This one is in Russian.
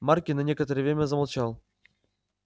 маркин на некоторое время замолчал